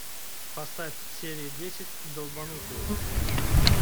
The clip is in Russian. поставь серия десять долбанутые